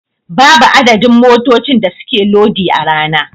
Babu adadin motocin da suke lodi a rana.